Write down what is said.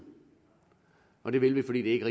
og det vil vi fordi det ikke